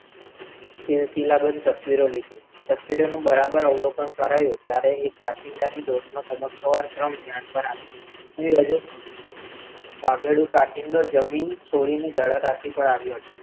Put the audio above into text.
શિલાબંધ તસવીરો લીધી, તસવીરોનું બરાબર અવલોકન કરાયુ ત્યારે એ કાંચિડાની ધ્યાનમાં આવી, ભાગેડુ કાંચિડો જમીન છોડીને જલરાશિ પર આવ્યો છે,